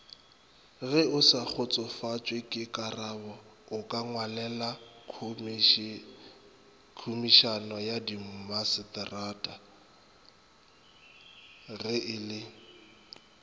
geosakgotsofatšwekekarabo okangwalelakhomišeneyadimmagaseterata ge e le